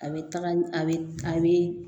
A bɛ taga a bɛ a bɛ